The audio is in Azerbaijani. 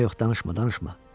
Amma yox, danışma, danışma.